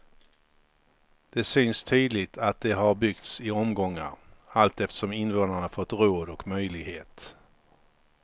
Det syns tydligt att de har byggts i omgångar, allt eftersom invånarna fått råd och möjlighet.